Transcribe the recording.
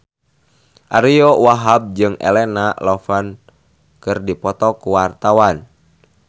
Ariyo Wahab jeung Elena Levon keur dipoto ku wartawan